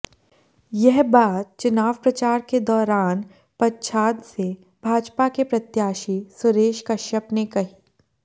यह बात चुनाव प्रचार के दौरान पच्छाद से भाजपा के प्रत्याशी सुरेश कश्यप ने कही